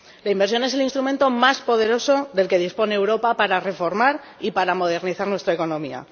La inversión es el instrumento más poderoso del que dispone Europa para reformar y para modernizar nuestra economía.